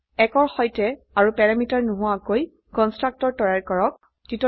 1 ৰ সৈতে আৰু প্যাৰামিটাৰ নোহোৱাকৈ কন্সট্ৰকটৰ তৈয়াৰ কৰক